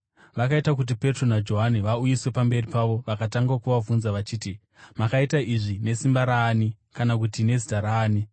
Vakaita kuti Petro naJohani vauyiswe pamberi pavo vakatanga kuvabvunza vachiti, “Makaita izvi nesimba raani kana kuti nezita raani?”